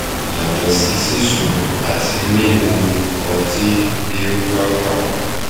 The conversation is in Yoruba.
yàtọ̀ sí sisun àti mímú ọtí bí ó bá wà